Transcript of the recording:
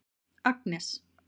Agnes